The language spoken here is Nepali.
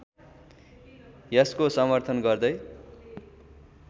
यसको समर्थन गर्दै